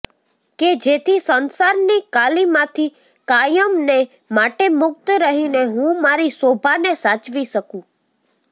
કે જેથી સંસારની કાલિમાથી કાયમને માટે મુક્ત રહીને હું મારી શોભાને સાચવી શકું